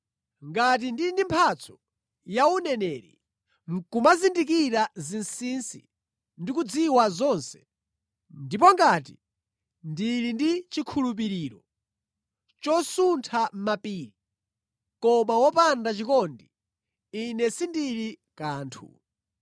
Ngati ndili ndi mphatso ya uneneri, nʼkumazindikira zinsinsi ndi kudziwa zonse, ndipo ngati ndili ndi chikhulupiriro chosuntha mapiri, koma wopanda chikondi, ine sindili kanthu.